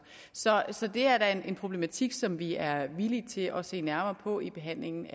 så det er da en problematik som vi er villige til at se nærmere på i behandlingen